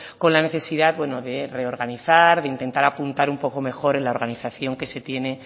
con la necesidad de reorganizar de intentar apuntar un poco mejor en la organización que se tiene